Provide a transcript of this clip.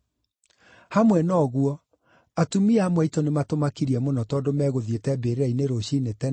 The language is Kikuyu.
Hamwe na ũguo atumia amwe aitũ nĩmatũmakirie mũno tondũ megũthiĩte mbĩrĩra-inĩ rũciinĩ tene,